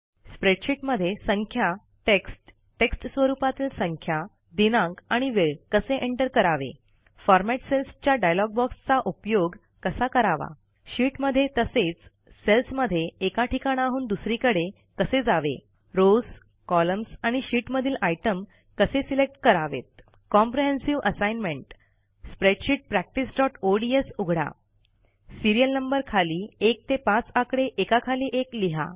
स्प्रेडशीटमध्ये संख्या टेक्स्ट टेक्स्टस्वरूपातील संख्या दिनांक आणि वेळ कसे एंटर करावे फॉरमॅट सेल्सच्या डायलॉग बॉक्सचा उपयोग कसा करावा शीट मध्ये तसेच सेल्समध्ये एका ठिकाणाहून दुसरीकडे कसे जावे रॉव्स कॉलम्स आणि शीट मधील आयटम कसे सिलेक्ट करावेत कॉम्प्रिहेन्सिव्ह असाइनमेंट spreadsheet practiceओडीएस उघडा सीरियल नंबर खाली 1 ते 5 आकडे एकाखाली एक लिहा